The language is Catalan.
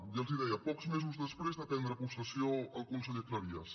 ja els ho deia pocs mesos després de prendre possessió el conseller cleries